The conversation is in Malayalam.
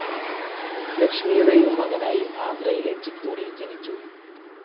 ലക്ഷ്മിയുടെയും മകനായി ആന്ധ്രയിലെ ചിത്തൂരിൽ ജനിച്ചു.